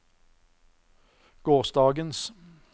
gårsdagens